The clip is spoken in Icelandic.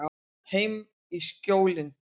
Heim í Skjólin.